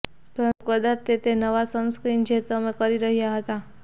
પરંતુ કદાચ તે તે નવા સનસ્ક્રીન જે તમે કરી રહ્યા હતા